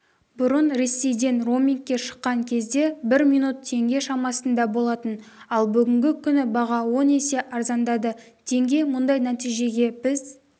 бұрын ресейден роумингке шыққан кезде бір минут теңге шамасында болатын ал бүгінгі күні баға он есе арзандады теңге мұндай нәтижеге біз